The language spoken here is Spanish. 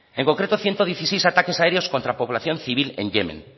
en concreto ciento dieciséis ataque aéreos contra población civil en yemen